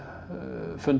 fundnar